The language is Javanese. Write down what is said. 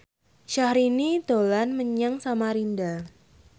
Syahrini dolan menyang Samarinda